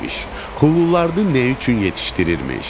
Xuluları nə üçün yetişdirirmiş?